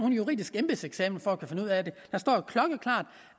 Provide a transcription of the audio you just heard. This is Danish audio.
en juridisk embedseksamen for at kunne finde ud af det